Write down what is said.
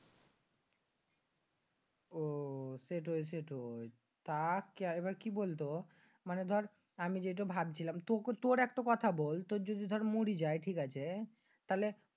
আহ সেটাই সেটাই তা এবার কি বলতো মানি দর আমি যে ভাবছিলাম তুর একটা কথা বল যদি দর মরি যায় ঠিক আছে? লাইতে